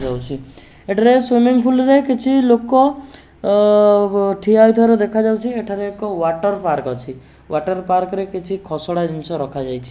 ଏଠାରେ swimming pool ରେ କିଛି ଲୋକ ଅ ଠିଆ ହେଇଥିବାର ଦେଖାଯାଉଛି। ଏଠାରେ ଏକ ୱାଟର ପାର୍କ ଅଛି। ୱାଟର ପାର୍କ ରେ କିଛି ଖସଡ଼ା ଜିନିଷ ରଖାଯାଇଛି।